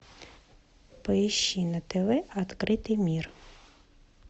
поищи на тв открытый мир